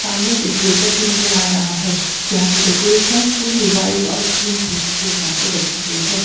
सामने एक वेटर भी नजर आ रहा है यहां की डेकोरेशन पूरी वाइट और क्रीम थीम के हिसाब से रखी गई है।